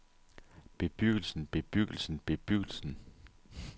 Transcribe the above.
bebyggelsen bebyggelsen bebyggelsen